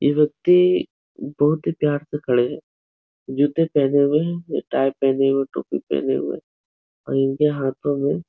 ये व्यक्ति बहोत ही प्यार से खड़े हैं। जूते पहने हुए है। ये टाइ पहने हुए टोपी पहने हुए और इनके हाथो में --